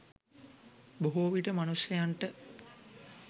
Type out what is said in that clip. බොහෝවිට මනුෂ්‍යයන්ට